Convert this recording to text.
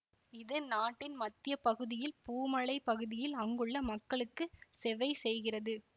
இது நாட்டின் மத்திய பகுதியில் பூ மலை பகுதியில் அங்குள்ள மக்களுக்கு செவைசெய்கிறது